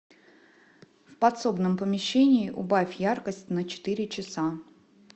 в подсобном помещении убавь яркость на четыре часа